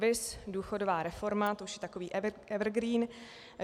Viz důchodová reforma, to už je takový evergreen.